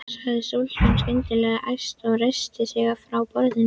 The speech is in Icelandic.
sagði stúlkan skyndilega æst og reisti sig frá borðinu.